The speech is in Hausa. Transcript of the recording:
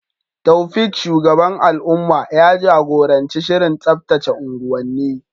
Taofiq, shugaban al’umma, ya jagoranci shirin tsaftace unguwanni.